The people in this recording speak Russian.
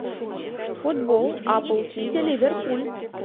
футбол апл сити ливерпуль